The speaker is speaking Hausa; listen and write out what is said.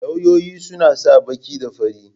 Lauyoyi suna sa baki da fari.